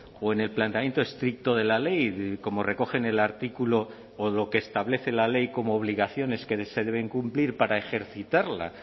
o en el planteamiento estricto de la ley como recoge en el artículo o lo que establece la ley como obligaciones que se deben cumplir para ejercitarla